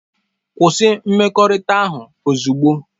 Kwụsị mmekọrịta ahụ ozugbo!